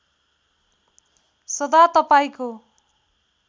सदा तपाईँको